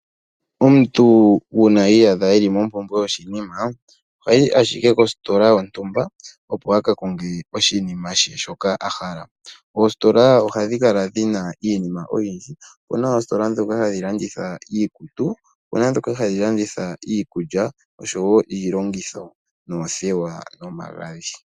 Omuntu uuna i iyadha e li mompumbwe yoshinima ohayi ashike kositola, opo a ka konge oshinima she shoka a hala. Oositola ohadhi kala dhi na iinima oyindji. Opu na oositola ndhoka hadhi landitha iikutu, opu na ndhoka hadhi landitha iikulya osho wo iilongitho noothewa nomagadhi.